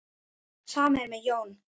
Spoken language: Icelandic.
Sama er með Jón.